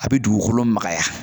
A bɛ dugukolo magaya